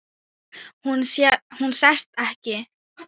Hún sest ekki.